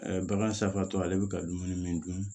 bagan safaatɔ ale bɛ ka dumuni min dun